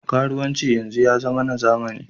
Karuwanci yanzu ya zama na zamani.